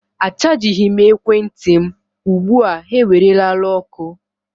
Achajighị m ekwentị m ugbu a ha ewerela ọkụ.